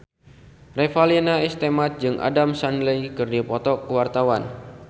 Revalina S. Temat jeung Adam Sandler keur dipoto ku wartawan